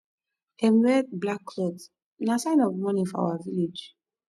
dem wear black cloth na sign of mourning for our village